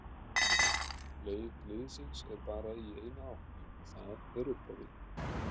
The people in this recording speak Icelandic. Leið liðsins er bara í eina átt og það er upp á við.